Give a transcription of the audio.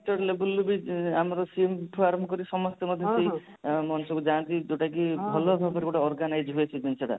label ରୁ ବି ଆମାର CM ଠୁ ଆରମ୍ଭ କରି ସମସ୍ତେ ମଧ୍ୟ ସେଇ ମହୋତ୍ସବ ଯାଆନ୍ତି ଯୋଉଟା କି ବହୁତ ଭଲ ଭାବରେ ଗୋଟେ organize ହୁଏ ହୁଏ ସେଇ ଜିନିଷ ଟା